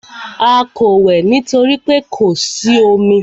A kò wẹ̀ nítorí pé kò sí omi.